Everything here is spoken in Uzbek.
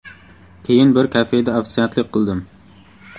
Keyin bir kafeda ofitsiantlik qildim.